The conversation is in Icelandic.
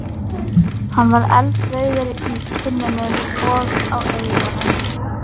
Hann var eldrauður í kinnunum og á eyrunum.